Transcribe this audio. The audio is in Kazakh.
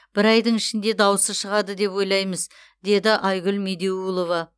бір айдың ішінде даусы шығады деп ойлаймыз деді айгүл медеулова